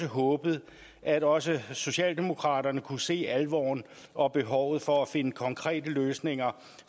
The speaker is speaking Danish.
håbet at også socialdemokraterne kunne se alvoren og behovet for at finde konkrete løsninger